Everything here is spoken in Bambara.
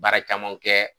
Baara caman kɛ